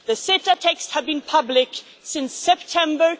The CETA texts have been public since September